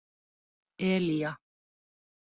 Elía